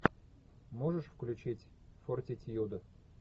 можешь включить фортитьюд